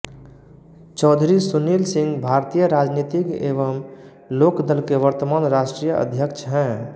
चौधरी सुनील सिंह भारतीय राजनीतिज्ञ एवं लोकदल के वर्तमान राष्ट्रीय अध्यक्ष हैं